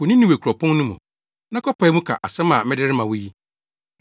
“Kɔ Ninewe kuropɔn no mu, na kɔpae mu ka asɛm a mede rema wo yi.”